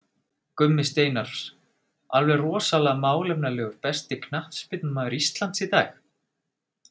Gummi Steinars, alveg rosalega málefnalegur Besti knattspyrnumaður Íslands í dag?